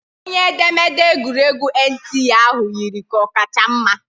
Onye edemede egwuregwu NTA ahụ yiri ka ọ kacha mma